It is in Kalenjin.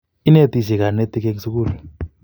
Inetisye kanetik eng' sukul